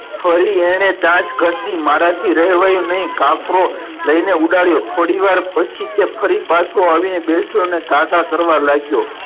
ફરી એને ચાંચ ગસી મારા થી રેહ્વાયું નઈ કાકરો લઈને ઉદાર્યો થોડી વાર પછી તે ફરી પાછો આવીન બેઠો ને કાકા કરવા લાગ્યો.